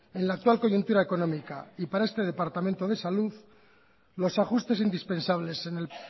en la actual coyuntura económica y para este departamento de salud los ajustes indispensables en el